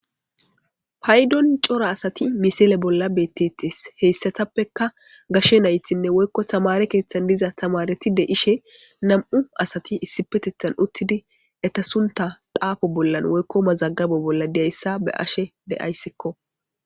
Paydon cora asati misile bolla bettetes heyssatappekka gashshe naythinne woykko tamare keeththan diza tamareti de'ishshe nam'u asati issipeteththan uttidi eta sunta xaafo bollan woykko mazaggabo bolla diyayssa be'ashshe de'ayssikko